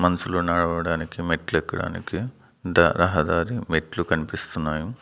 మనుషులు నడవడానికి మెట్లు ఎక్కడానికి దా రహదారి మెట్లు కనిపిస్తున్నాయి.